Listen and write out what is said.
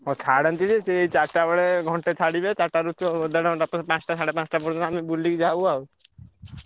ହଁ ଛାଡ଼ନ୍ତି ଯେ ସିଏ ଏଇ ଚାରିଟାବେଳେ ଘଣ୍ଟେ ଛାଡ଼ିବେ ଦେଢ ଘଣ୍ଟା ପରେ ପାଞ୍ଚଟା ସାଢେ ପାଞ୍ଚଟା ପର୍ଯ୍ୟନ୍ତ ଆମେ ବୁଲିକି ଯାଉ ଆଉ।